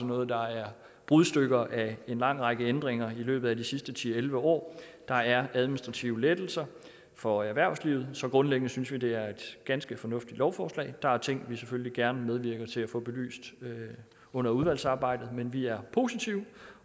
noget der er brudstykker af en lang række ændringer i løbet af de sidste ti til elleve år der er administrative lettelser for erhvervslivet så grundlæggende synes vi det er et ganske fornuftigt lovforslag der er ting vi selvfølgelig gerne medvirker til at få belyst under udvalgsarbejdet men vi er positive